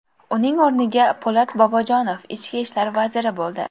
Uning o‘rniga Po‘lat Bobojonov ichki ishlar vaziri bo‘ldi .